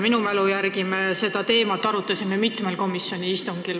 Minu mälu järgi me arutasime seda teemat mitmel komisjoni istungil.